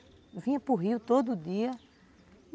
Eu vinha para o rio todo dia.